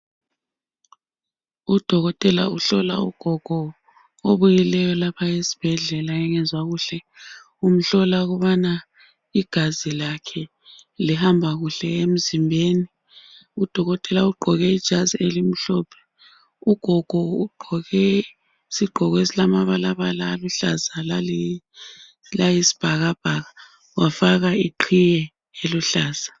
Udokotela uhlola ugogo obuyileyo lapha esibhedlela engezwa kuhle. Umhlola ukubana igazi lakhe lihamba kuhle emzimbeni. Udokotela ugqoke ijazi elimhlophe. Ugogo ugqoke isigqoko esilamabalabala aluhlaza lali layi s'bhakabhaka, wafaka iqhiye eluhlaza.